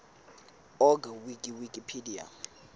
org wiki wikipedia